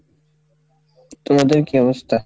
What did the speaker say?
তোমাদের কী অবস্থা?